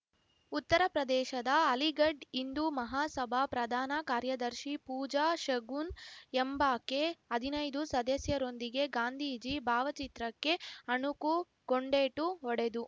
ಉತ್ತರ ಪ್ರದೇಶದ ಅಲಿಘಡ್‌ ಹಿಂದು ಮಹಾಸಭಾ ಪ್ರಧಾನ ಕಾರ್ಯದರ್ಶಿ ಪೂಜಾ ಶಗುನ್‌ ಎಂಬಾಕೆ ಹದಿನೈದು ಸದಸ್ಯರೊಂದಿಗೆ ಗಾಂಧೀಜಿ ಭಾವಚಿತ್ರಕ್ಕೆ ಅಣಕು ಗುಂಡೇಟು ಹೊಡೆದು